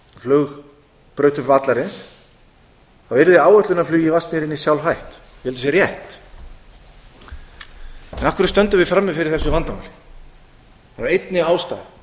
aðra af aðalflugbrautum vallarins yrði áætlunarflugi í vatnsmýrinni sjálfhætt ég held að það sé rétt af hverju stöndum við frammi fyrir þessu vandamáli af einni ástæðu